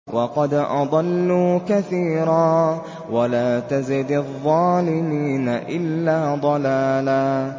وَقَدْ أَضَلُّوا كَثِيرًا ۖ وَلَا تَزِدِ الظَّالِمِينَ إِلَّا ضَلَالًا